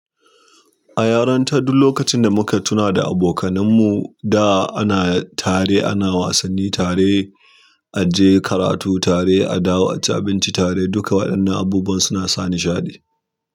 A yarinta duk lokacin da muka tuna da abokanan mu, da ana tare, ana wasanni tare, aje karatu tare, a dawo aci abinci tare, dukka waɗannan abubuwan su na sa nishaɗi.